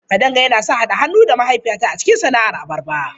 Kadanga yana son haɗa hannu da mahaifiyata a cikin sana'ar abarba.